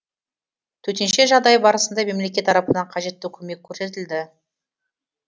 төтенше жағдай барысында мемлекет тарапынан қажетті көмек көрсетілді